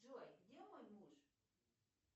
джой где мой муж